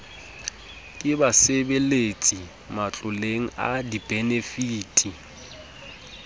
ke basebeletsi matloleng a dibenefiti